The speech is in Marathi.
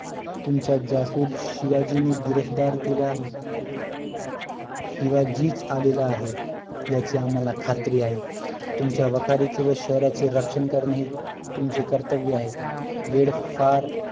तुमचा जासुद शिवाजीने गिरफ्तार केला आहे शिवाजीच आलेला आहे याची आम्हाला खात्री आहे तुमच्या वाखारीचे व शहराचे रक्षण करणे तुमचे कर्तव्य आहे वेळ फार